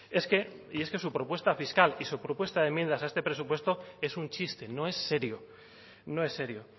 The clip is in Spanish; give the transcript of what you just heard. es que y es que su propuesta fiscal y su propuesta de enmiendas a este presupuesto es un chiste no es serio no es serio